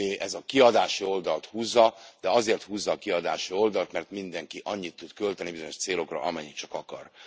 ez a kiadási oldalt húzza, de azért húzza a kiadási oldalt, mert mindenki annyit tud költeni bizonyos célokra, amennyit csak akar.